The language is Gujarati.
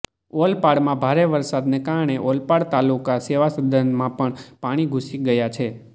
ઓલપાડમાં ભારે વરસાદને કારણે ઓલપાડ તાલુકા સેવાસદનમાં પણ પાણી ઘૂસી ગયા છે